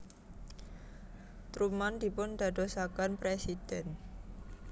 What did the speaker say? Truman dipundadosaken presiden